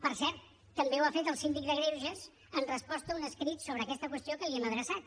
per cert també ho ha fet el síndic de greuges en resposta a un escrit sobre aquesta qüestió que li hem adreçat